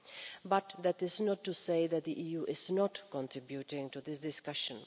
However, that is not to say that the EU is not contributing to this discussion.